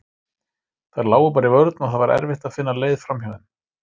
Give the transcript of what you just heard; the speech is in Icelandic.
Þær lágu bara í vörn og það var erfitt að finna leið framhjá þeim.